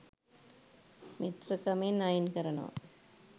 මිත්‍රකමෙන් අයින් කරනවා